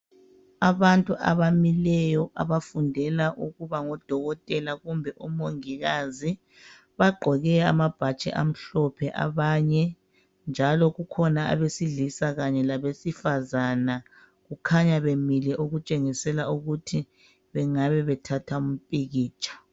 Abantu abamileyo abafundela ukubangodokotela kumbe umongikazi, bagqoke amabhatshi amhlophe abanye njalo kukhona abesilisa kanye labesifazana kukhanya bemile okutshengisela ukuthi bengabe bethatha umpikitsha.